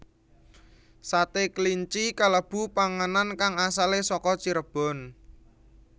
Sate kelinci kalebu panganan kang asalé saka Cirebon